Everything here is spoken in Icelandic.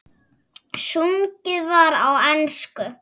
Sungið var á ensku.